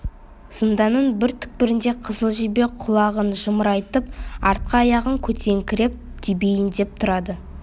зынданның бір түкпірінде қызыл жебе құлағын жымырайтып артқы аяғын көтеріңкіреп тебейін деп тұрады